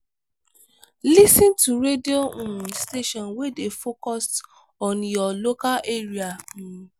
lis ten to radio um station wey dey focused on your local area um